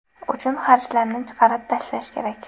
uchun xarjlarni chiqarib tashlash kerak.